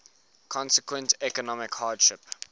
consequent economic hardship